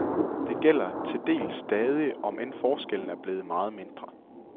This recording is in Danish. Det gælder til dels stadig, om end forskellen er blevet meget mindre.